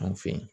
Anw fe yen